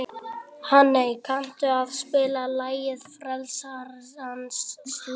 Hanney, kanntu að spila lagið „Frelsarans slóð“?